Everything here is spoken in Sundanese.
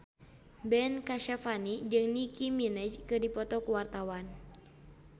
Ben Kasyafani jeung Nicky Minaj keur dipoto ku wartawan